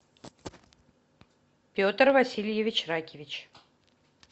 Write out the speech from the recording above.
петр васильевич ракевич